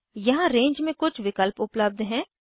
यहाँ रेंज में कुछ विकल्प उपलब्ध हैं